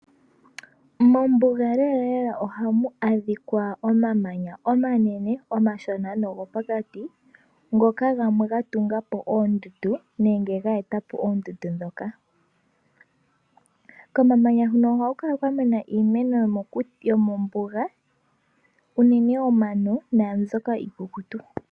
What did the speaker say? Mombuga lela lela ohamu a dhika omamanya omanene, omashina nogo pokati ngoka gamwe gatungwa po oondundu nenge ge e ta po oondundu dhoka. Komamanya hono ohaku kala kwa mena iimeno yo mombuga unene omano naambyoka iikukutu.